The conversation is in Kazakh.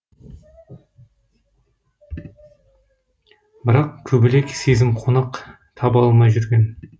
бірақ көбелек сезім қонақ таба алмай жүрген